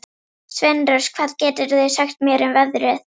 Sveinrós, hvað geturðu sagt mér um veðrið?